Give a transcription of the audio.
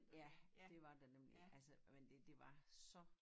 Ja det var der nemlig altså men det det var så